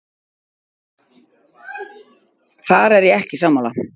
Þar er ég ekki sammála.